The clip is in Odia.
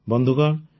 ବନ୍ଧୁଗଣ